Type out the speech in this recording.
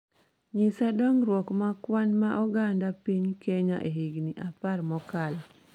Nyisa dongruok ma kwan ma oganda piny Kenya e higni apar mokalo